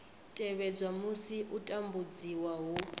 tevhedzwa musi u tambudziwa hu